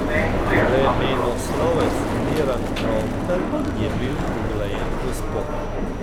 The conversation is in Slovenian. Vremenoslovec Miran Trontelj je bil uglajen gospod.